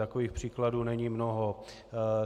Takových příkladů není mnoho.